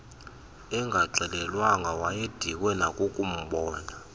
engaxelelwanga wayedikwe nakukubona